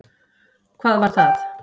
Hvað var það?